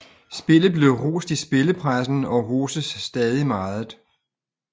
Spillet blev rost i spillepressen og og roses stadig meget